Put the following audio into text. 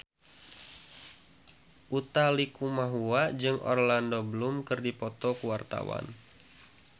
Utha Likumahua jeung Orlando Bloom keur dipoto ku wartawan